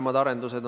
Hea peaminister!